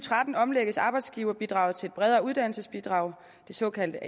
tretten omlægges arbejdsgiverbidraget til et bredere uddannelsesbidrag det såkaldte